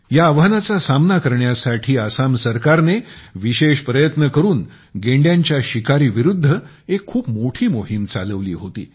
या आव्हानाचा सामना करण्यासाठी आसाम सरकारने विशेष प्रयत्न करून गेंड्यांच्या शिकारी विरुद्ध एक खूप मोठी मोहीम चालवली होती